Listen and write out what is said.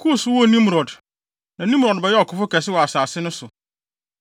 Kus woo Nimrod. Na Nimrod bɛyɛɛ ɔkofo kɛse wɔ asase so.